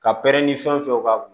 Ka pɛrɛn ni fɛn fɛn b'